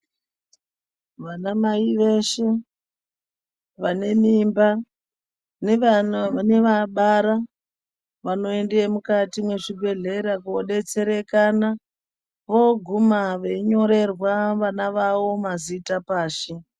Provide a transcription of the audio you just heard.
Vanamai veshe vane mimba nevabara vanoenda mukati mwezvibhehleya kodetserekana voguma veinyorerwa mazita pashi.